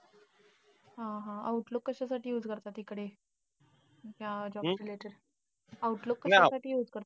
हा हा. outlook कशासाठी use करतात तिकडे अं जावाच्या related outlook कशासाठी use करतात?